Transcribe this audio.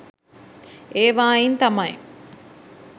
ඒවායින් තමයි